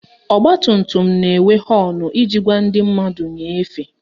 Ọgbatumtum na-enwe họọnụ iji gwa ndị mmadụ nye efe